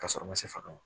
Ka sɔrɔ ma se faga ma